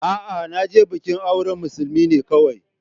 A'a, na je bikin auren musulmi ne kawai.